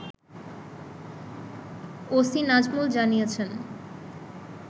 OC Nazmul জানিয়েছেন